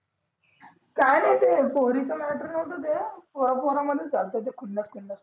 काही नाही ते पोरीचं म्याटर होत ते पोरं मधीच झालत ते खुन्नस खुन्नस मधी